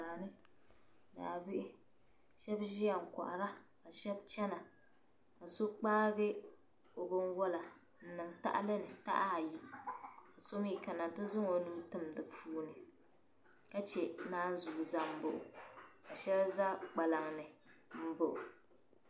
Daani kasheb ziya n kohara kasheb chana. kaso kpaai obinwala n niŋ tahili ni taha ayi kasomi kana n ti zaŋ o nuhi tim di puuni ka chɛ naanzuu zaŋbu ka shɛli za kpalaŋni mbaɣɔ.